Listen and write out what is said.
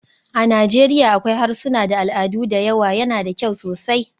A Najeriya akwai harsuna da al'adu da yawa, yana da kyau sosai.